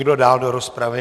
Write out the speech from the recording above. Kdo dál do rozpravy?